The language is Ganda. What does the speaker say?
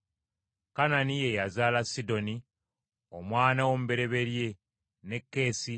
Kanani ye yazaala Sidoni, omwana we omubereberye, ne Keesi,